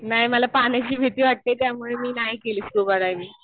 नाही. मला पाण्याची भीती वाटते. त्यामुळे मी नाही केली स्कुबा डायविंग.